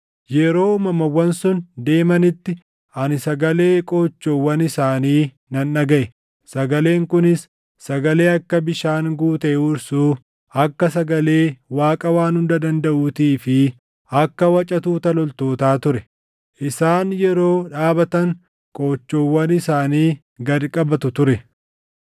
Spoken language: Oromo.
Yeroo uumamawwan sun deemanitti ani sagalee qoochoowwan isaanii nan dhagaʼe; sagaleen kunis sagalee akka bishaan guutee huursuu, akka sagalee Waaqa Waan Hunda Dandaʼuutii fi akka waca tuuta loltootaa ture. Isaan yeroo dhaabatan qoochoowwan isaanii gad qabatu ture.